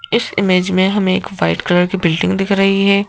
इस इमेज में हमें एक व्हाइट कलर की बिल्डिंग दिख रही है।